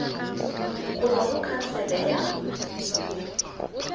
go tswa go khansele ya